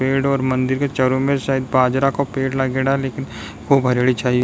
पेड़ और मंदिर के चारो में शायद बाजरा को पेड़ लागेड़ा लेकिन खूब हरियाली छाई है।